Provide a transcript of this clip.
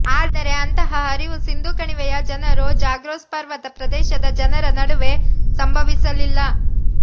ಆದರೆ ಅಂತಹ ಹರಿವು ಸಿಂಧೂ ಕಣಿವೆಯ ಜನರು ಜಾಗ್ರೋಸ್ ಪರ್ವತ ಪ್ರದೇಶದ ಜನರ ನಡುವೆ ಸಂಭವಿಸಲಿಲ್ಲ